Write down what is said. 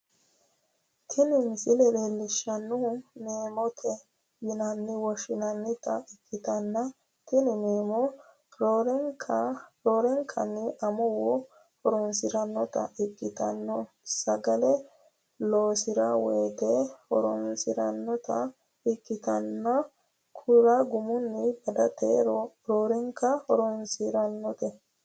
tini misile leellishshannohu meemote yine woshhsinannita ikkitanna, tini meemono roorenkanni amuwu horonsi'rannota ikkitanna sagale loosi'ranno woyte horonsi'rannota ikkitanna, kura gumunni badateno roorenkanni horonsi'nannite.